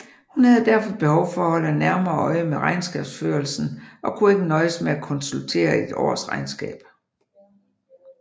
Hun havde derfor behov for at holde nærmere øje med regnskabsførelsen og kunne ikke nøjes med at konsultere et årsregnskab